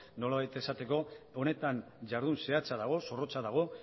nolabait esateko honetan jardun zehatza dago zorrotza dago